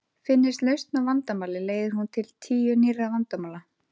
Finnist lausn á vandamáli leiðir hún til tíu nýrra vandamála.